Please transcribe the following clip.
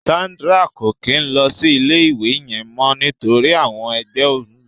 Sandra ko kin lọ sí ilé ìwé yẹn mọ nítorí àwọn ẹgbẹ ẹ n lu.